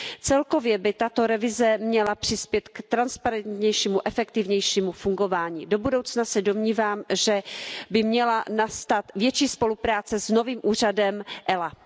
Celkově by tato revize měla přispět k transparentnějšímu, efektivnějšímu fungování. Do budoucna se domnívám, že by měla nastat větší spolupráce s novým úřadem ELA.